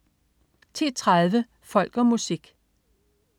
10.30 Folk og Musik